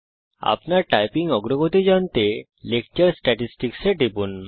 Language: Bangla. আপনার টাইপিং অগ্রগতি জানতে লেকচার স্ট্যাটিসটিকস এ টিপুন